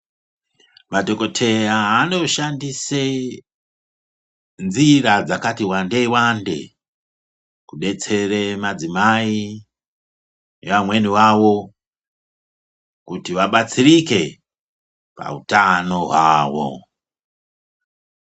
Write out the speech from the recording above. Madhokoteya anoshandise nzira dzakati wandeiwande kudetsere madzimai nevamweni vavo kuti vabatsirike pauthano hwavo.